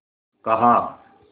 कहा